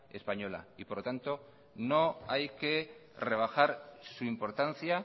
española por lo tanto no hay que rebajar su importancia